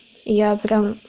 я прям